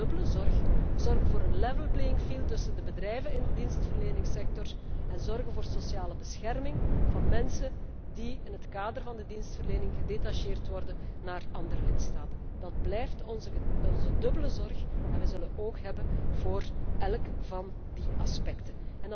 Dat was een dubbele zorg zorgen voor een level playing field tussen de bedrijven in de dienstverleningssector en zorgen voor sociale bescherming van mensen die in het kader van de dienstverlening gedetacheerd worden naar andere lidstaten. Dat blijft onze dubbele zorg en wij zullen oog hebben voor elk van die aspecten.